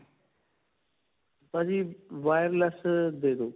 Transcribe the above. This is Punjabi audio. ਭਾਜੀ, wireless ਅਅ ਦੇ ਦੋ.